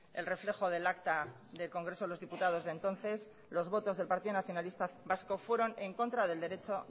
el reflejo del acta del congreso de los diputados de entonces los votos del partido nacionalista vasco fueron en contra del derecho